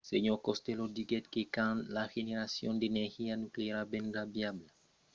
sr. costello diguèt que quand la generacion d'energia nucleara vendrà viabla economicament austràlia deuriá cercar a l'emplegar